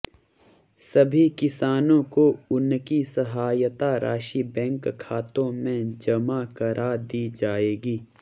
सभी किसानों को उनकी सहायता राशि बैंक खातों में जमा करा दी जाएगी